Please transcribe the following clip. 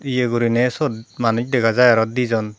ye gurinei syot manuj dega jai araw dijon.